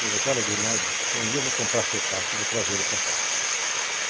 Ele falou assim, olha Grimaldi, um dia eu vou comprar seu passe e vou trazê-lo para cá.